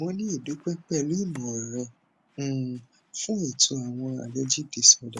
mo ni idupe pẹlú ìmọ rẹ um fún ètò àwọn allergic disorder